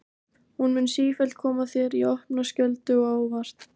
Hún mun sífellt koma þér í opna skjöldu og á óvart.